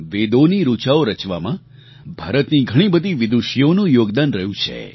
વેદોની ઋચાઓ રચવામાં ભારતની ઘણી બધી વિદૂષીઓનું યોગદાન રહ્યું છે